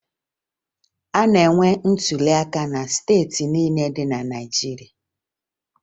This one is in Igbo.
A na-enwe ntụliaka na steeti niile dị na Naịjirịa